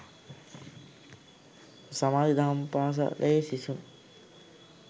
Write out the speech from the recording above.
සමාධි දහම් පාසලේ සිසුන්